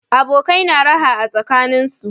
Abokai na raha tsakaninsu